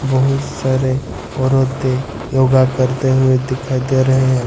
बहुत सारे औरतें योगा करते हुए दिखाई दे रहे है।